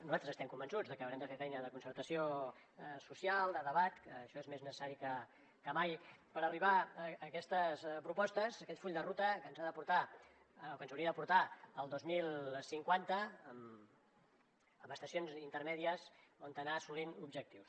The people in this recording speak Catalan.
nosaltres estem convençuts de que haurem de fer feina de concertació social de debat que això és més necessari que mai per arribar a aquestes propostes a aquest full de ruta que ens ha de portar o que ens hauria de portar al dos mil cinquanta a estacions intermèdies on anar assolint objectius